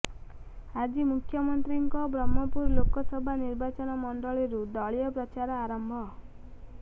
ଆଜି ମୁଖ୍ୟମନ୍ତ୍ରୀଙ୍କ ବ୍ରହ୍ମପୁର ଲୋକସଭା ନିର୍ବାଚନ ମଣ୍ଡଳୀରୁ ଦଳୀୟ ପ୍ରଚାର ଆରମ୍ଭ